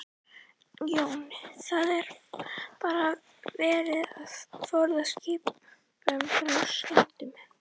Jón: Það er bara verið að forða skipinu frá skemmdum?